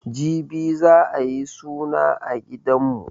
Jibi za'a yi suna a gidanmu.